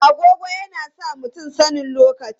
Agogo yana sa mutum sanin lokaci.